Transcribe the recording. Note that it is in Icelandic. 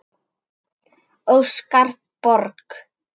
Óskar Borg.